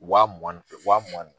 Waa mugan ni waa mugan ni